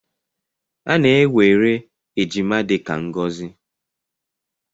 A na-ewere ejima dị ka ngọzi.